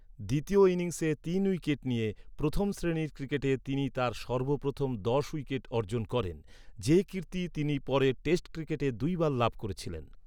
দ্বিতীয় ইনিংসে তিন উইকেট নিয়ে, প্রথম শ্রেণীর ক্রিকেটে তিনি তাঁর সর্বপ্রথম দশ উইকেট অর্জন করেন, যে কীর্তি তিনি পরে টেস্ট ক্রিকেটে দুইবার লাভ করেছিলেন।